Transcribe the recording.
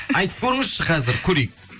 айтып көріңізші қазір көрейік